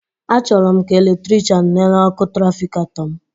Achọrọ m ka eletrichan nele ọkụ trafikato m